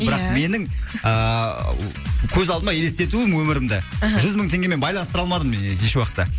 бірақ ия менің ааа көз алдыма елестетуім өмірімді мхм жүз мың теңгемен байланыстыра алмадым і еш уақытта